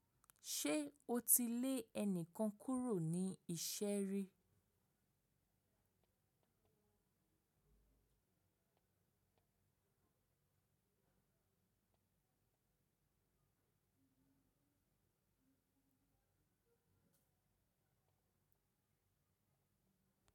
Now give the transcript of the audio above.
Ṣe o ti le ẹnikan kuro ni iṣẹ ri?